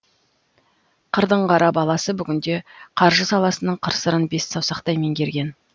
қырдың қара баласы бүгінде қаржы саласының қыр сырын бес саусақтай меңгерген